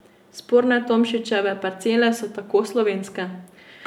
Sporne Tomšičeve parcele so tako slovenske.